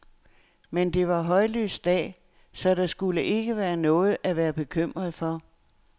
Men det var højlys dag, så der skulle ikke være noget at være bekymret for.